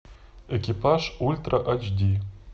экипаж ультра ач ди